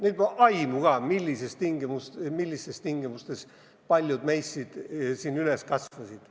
Neil pole aimu ka, millistes tingimustes paljud meist üles kasvasid.